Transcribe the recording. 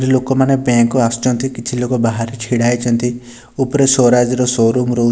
ଲୋକମାନେ ବ୍ଯାଙ୍କ ଆସୁଚନ୍ତି କିଛି ଲୋକ ବାହାରେ ଛିଡା ହେଇଚନ୍ତି ଉପରେ ସ୍ବରାଜର ସୋ-ରୁମ ରହୁ --